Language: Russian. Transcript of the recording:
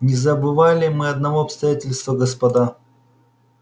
не забывали мы одно обстоятельства господа